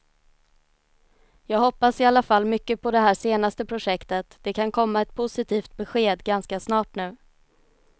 Jag hoppas i alla fall mycket på det här senaste projektet, det kan komma ett positivt besked ganska snart nu.